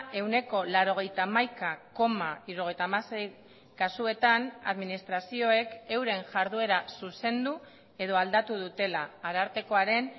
ehuneko laurogeita hamaika koma hirurogeita hamasei kasuetan administrazioek euren jarduera zuzendu edo aldatu dutela arartekoaren